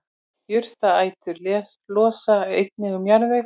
Jurtaætur losa einnig um jarðveg.